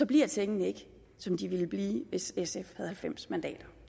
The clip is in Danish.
bliver tingene ikke som de ville blive hvis sf havde halvfems mandater